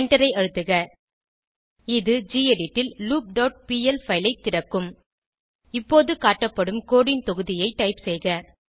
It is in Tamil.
எண்டரை அழுத்துக இது கெடிட் ல் லூப் டாட் பிஎல் பைல் ஐ திறக்கும் இப்போது காட்டப்படும் கோடு ன் தொகுதியை டைப் செய்க